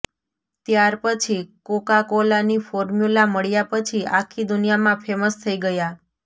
ત્યારપછી કોકાકોલાની ફોર્મ્યુલા મળ્યા પછી આખી દુનિયામાં ફેમસ થઈ ગયા